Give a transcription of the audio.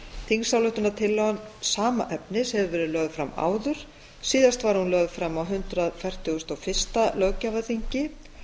þingsályktunartillaga sama efnis hefur verið lögð fram áður síðast var hún lögð fram á hundrað fertugasta og fyrsta löggjafarþingi